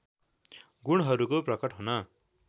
गुणहरूको प्रकट हुन